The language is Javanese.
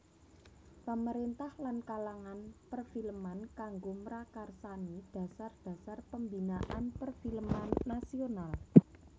Pamerintah lan kalangan perfilman kanggo mrakarsani dasar dasar pembinaan perfilman nasional